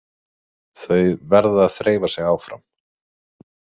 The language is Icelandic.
Þau verða að þreifa sig áfram.